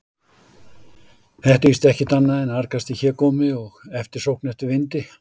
Þetta er víst ekkert annað en argasti hégómi og eftirsókn eftir vindi.